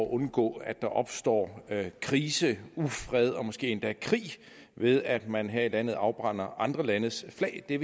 undgå at der opstår krise ufred og måske endda krig ved at man her i landet afbrænder andre landes flag vi